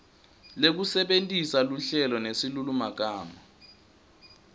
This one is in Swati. lekusebentisa luhlelo nesilulumagama